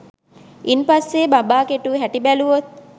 ඉන් පස්සේ බඹා කෙටු හැටි බැලුවොත්